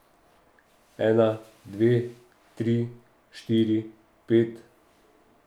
Ena, dve, tri, štiri, pet ...